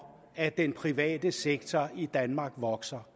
at den private sektor i danmark vokser